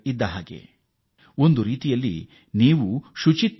ಶುದ್ಧೀಕರಣ ಮತ್ತು ಸ್ವಚ್ಛತೆಯ ಉದ್ದೇಶದಲ್ಲಿ ನೀವು ಯೋಧರಾಗಿದ್ದೀರಿ